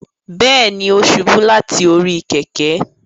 Bẹẹni, o ṣubu lati ori kẹ̀kẹ́